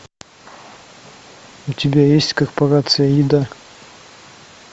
у тебя есть корпорация еда